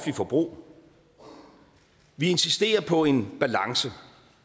forbrug vi insisterer på en balance